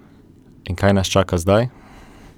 In kaj nas čaka zdaj?